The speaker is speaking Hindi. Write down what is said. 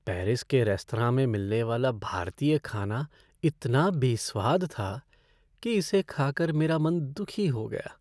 पेरिस के रेस्तरां में मिलने वाला भारतीय खाना इतना बेस्वाद था कि इसे खा कर मेरा मन दुखी हो गया।